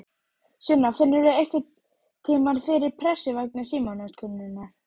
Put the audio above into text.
Sunna: Finnurðu einhverntímann fyrir pressu vegna símanotkunarinnar?